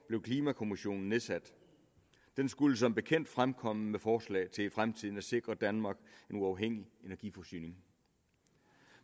blev klimakommissionen nedsat den skulle som bekendt fremkomme med forslag til i fremtiden at sikre danmark en uafhængig energiforsyning